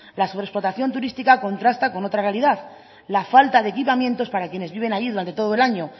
la sobreexplotación turística contrasta con otra realidad la falta de equipamientos para quienes viven allí durante todo el año